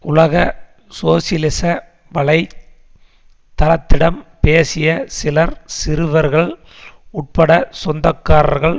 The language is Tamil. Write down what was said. உலக சோசியலிச வலை தளத்திடம் பேசிய சிலர் சிறுவர்கள் உட்பட சொந்தக்காரர்கள்